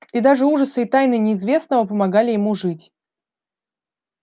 и даже ужасы и тайны неизвестного помогали ему жить